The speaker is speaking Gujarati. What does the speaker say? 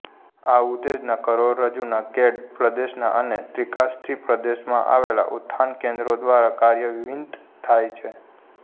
આ ઉત્તેજના કરોડરજ્જુના કેડ પ્રદેશના અને ત્રિકાસ્થિ પ્રદેશમાં આવેલા ઉત્થાન કેંદ્રો દ્વારા કાર્યાન્વીત થાય છે